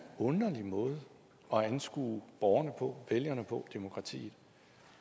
underlig måde at anskue borgerne på vælgerne på demokratiet